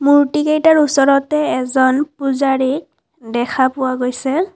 মূৰ্ত্তি কেইটাৰ ওচৰতে এজন পূজাৰী দেখা পোৱা গৈছে।